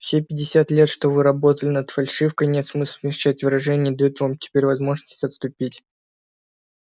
все пятьдесят лет что вы работали над фальшивкой нет смысла смягчать выражения дают вам теперь возможность отступить